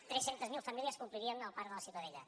tres centes mil famílies que omplirien el parc de la ciutadella